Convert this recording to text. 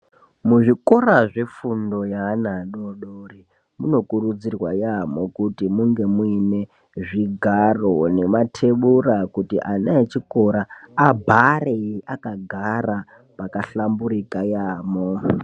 Muzvikora zvefundo yeana adodori munokurudzirwa yaamho kuti munge muine zvigaro nematebura kuti ana echikora abhare akagara pakahlamburika yaamho.